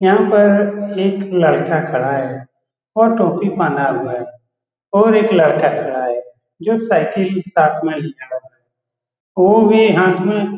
यहाँ पर एक लड़का खड़ा है वो टोपी पहना हुआ है और एक लड़का खड़ा है जो साइकिल के पास में खड़ा हुआ है वो भी हाथ में --